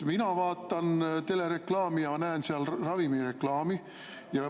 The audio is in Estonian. Mina vaatan televiisorit ja näen seal ravimireklaami.